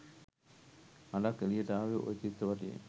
හඬක් එළියට ආවේ ඔය චිත්‍රපටියෙන්.